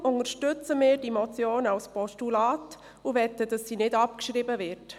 Deshalb unterstützen wir die Motion als Postulat und möchten, dass sie nicht abgeschrieben wird.